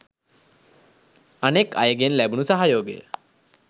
අනෙක් අයගෙන් ලැබුණු සහයෝගය?